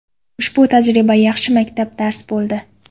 Ushbu tajriba yaxshi maktab dars bo‘ldi.